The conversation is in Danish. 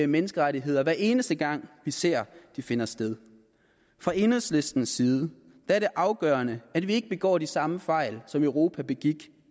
menneskerettigheder hver eneste gang vi ser de finder sted fra enhedslistens side er det afgørende at vi ikke begår de samme fejl som europa begik